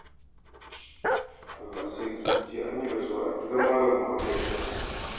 Allah sarki! Jiya an yi rasuwa a gidan Malam Muhammadu Baƙo.